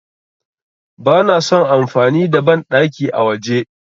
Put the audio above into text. Bana son amfani da banɗaki a waje.